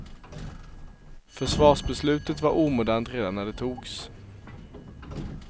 Försvarsbeslutet var omodernt redan när det togs.